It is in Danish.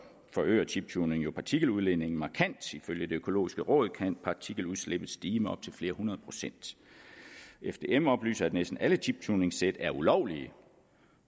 forøger chiptuning jo partikeludledningen markant i følge det økologiske råd kan partikeludslippet stige med op til flere hundrede procent fdm oplyser at næsten alle chiptuningssæt er ulovlige